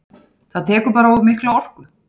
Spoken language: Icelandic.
Það tekur bara of mikla orku.